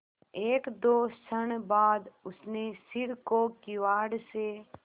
एकदो क्षण बाद उसने सिर को किवाड़ से